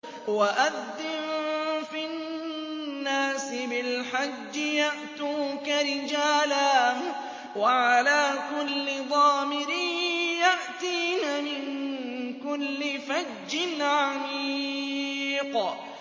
وَأَذِّن فِي النَّاسِ بِالْحَجِّ يَأْتُوكَ رِجَالًا وَعَلَىٰ كُلِّ ضَامِرٍ يَأْتِينَ مِن كُلِّ فَجٍّ عَمِيقٍ